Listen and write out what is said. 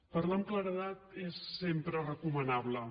parlar amb claredat és sempre recomanable